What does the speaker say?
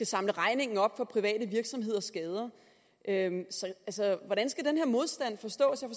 samle regningen op for private virksomheders skader så hvordan skal den her modstand forstås jeg